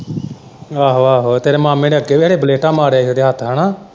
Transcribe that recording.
ਆਹੋ-ਆਹੋ ਤੇਰੇ ਮਾਮੇ ਨੇ ਅੱਗੇ ਵੀ ਖਰੇ ਬਲੇਟਾਂ ਮਾਰਿਆ ਹੀ ਉਹਦੇ ਹੱਥ ਹੈਨਾ।